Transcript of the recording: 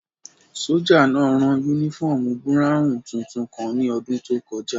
Sójà náà rán yúnífọ́ọ̀mù búráwùn tuntun kan ní ọdún tó kọjá